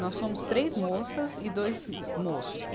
Nós somos três moças e dois moços.